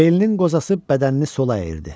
Belinin qozası bədənini sola əyirdi.